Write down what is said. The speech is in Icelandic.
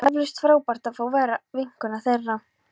Það var eflaust frábært að fá að vera vinkona þeirra.